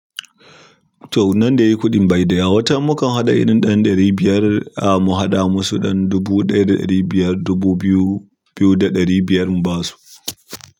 To, nan dai kuɗin bai da yawa, watatan mukan haɗa, irin ɗan ɗari biyar, an mu haɗa musu ɗan dubu ɗaya da ɗari biyar, dubu biyu mu ba su.